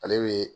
Ale bɛ